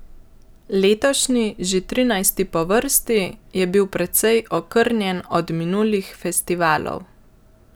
Letošnji, že trinajsti po vrsti, je bil precej okrnjen od minulih festivalov.